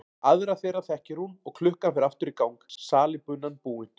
Aðra þeirra þekkir hún og klukkan fer aftur í gang, salíbunan búin.